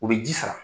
U bɛ ji sama